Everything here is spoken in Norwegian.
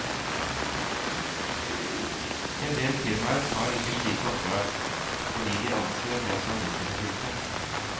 Endel firmaer tar ikke slike oppdrag, fordi de anser dem som risikofylte.